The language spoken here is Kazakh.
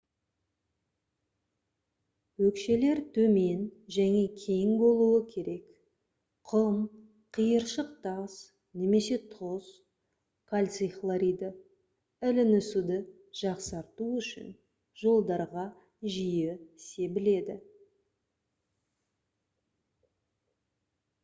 өкшелер төмен және кең болуы керек. құм қиыршық тас немесе тұз кальций хлориді ілінісуді жақсарту үшін жолдарға жиі себіледі